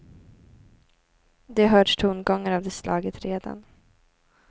Det har hörts tongångar av det slaget redan.